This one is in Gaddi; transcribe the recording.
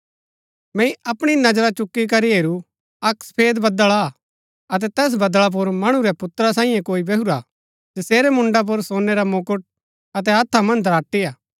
मैंई अपणी नजरा चुकी करी हेरू अक्क सफेद बदळ हा अतै तैस बदळा पुर मणु रै पुत्रा सांईये कोई बैहुरा हा जसेरै मुण्ड़ा पुर सोनै रा मुकुट अतै हत्था मन्ज दराटी हा